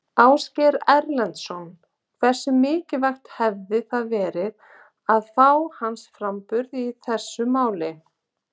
Ásgeir Erlendsson: Hversu mikilvægt hefði það verið að fá hans framburð í þessu máli?